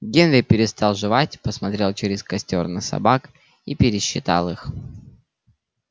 генри перестал жевать посмотрел через костёр на собак и пересчитал их